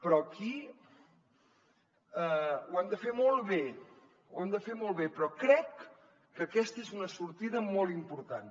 però aquí ho hem de fer molt bé ho hem de fer molt bé però crec que aquesta és una sortida molt important